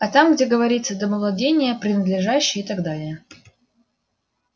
а там где говорится домовладение принадлежащее и так далее